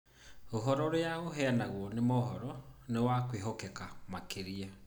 Ũhoro ũrĩa ũheanagwo nĩ mohoro nĩ wa kwĩhokeka makĩria.